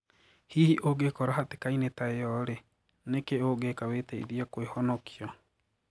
Hihi ungiikora hatikaini taa iyo rii niki ungiika witiithie kuihonokia?